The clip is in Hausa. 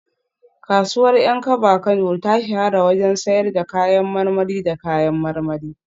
Kasuwar Yankaba Kano ta shahara wajen sayar da kayan marmari da kayan marmari